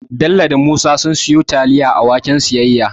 Bello da Musa sun siyo taliya a waken siyayya